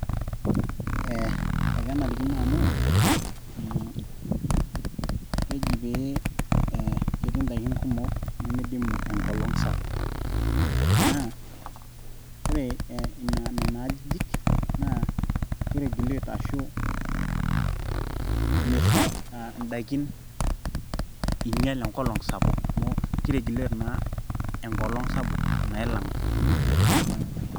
Eh ,ekenarikino amu mmh keji pee ee ketii indaikin kumok nimidimu enkolong sapuk naa ore Ina Nena ajijik naa ki regulate ashu misho indaikin inyal enkolong sapuk amu ki regulate naa enkolong sapuk nailang atua Nena kiek.